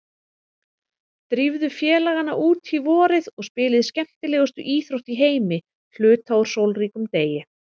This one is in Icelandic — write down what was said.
Drífðu félagana út í vorið og spilið skemmtilegustu íþrótt í heimi hluta úr sólríkum degi.